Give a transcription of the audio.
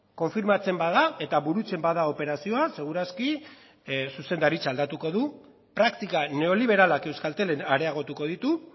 konfirmatzen bada eta burutzen bada operazioa segur aski zuzendaritza aldatuko du praktika neoliberalak euskaltelen areagotuko ditu